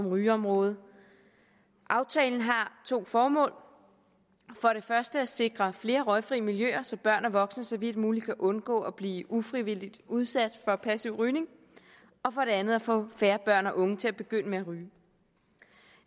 rygeområdet aftalen har to formål for det første at sikre flere røgfrie miljøer så børn og voksne så vidt muligt kan undgå at blive ufrivilligt udsat for passiv rygning og for det andet er få færre børn og unge til at begynde med at ryge